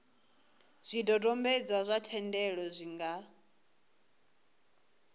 zwidodombedzwa zwa thendelo zwi nga